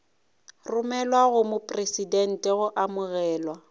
romelwa go mopresidente go amogelwa